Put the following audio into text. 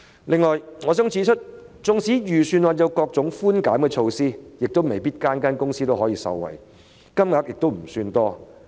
此外，我想指出，即使預算案有各種寬減措施，但未必每間公司都能夠受惠，而且金額亦不算多。